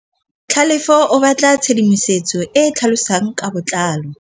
Tlhalefô o batla tshedimosetsô e e tlhalosang ka botlalô.